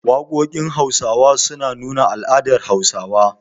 Waƙoƙin Hausawa sukan nuna al'adun Hausawa.